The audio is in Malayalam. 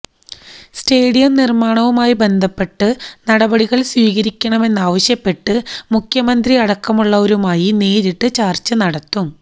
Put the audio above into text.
സ്റ്റേഡിയം നിര്മാണവുമായി ബന്ധപ്പെട്ട് നടപടികള് സ്വീകരിക്കണമെന്നാവശ്യപ്പെട്ട് മുഖ്യമന്ത്രി അടക്കമുള്ളവരുമായി നേരിട്ട് ചര്ച്ച നടത്തും